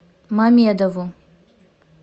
мамедову